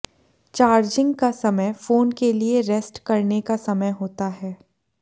charging का समय phone के लिए रेस्ट करने का समय होता है